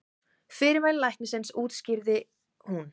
Fyrirmæli læknisins útskýrði hún.